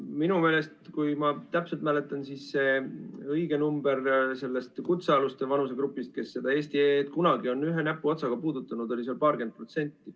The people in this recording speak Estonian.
Minu meelest, kui ma täpselt mäletan, siis õige number selle kutsealuste vanusegrupi kohta, kes seda eesti.ee-d on kunagi ühe näpuotsaga puudutanud, oli paarkümmend protsenti.